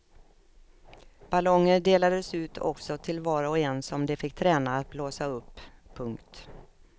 Ballonger delades ut också till var och en som de fick träna att blåsa upp. punkt